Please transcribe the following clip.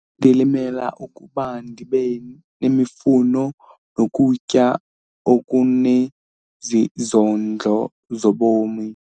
Ndilimela ukuba ndibe nemifuno nokutya okunezondlo zobomi.